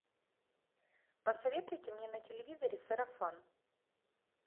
посоветуйте мне на телевизоре сарафан